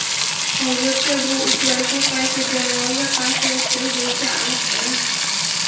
Hozircha bu uchrashuv qaysi jamoaga qarshi o‘tkazilishi aniq emas.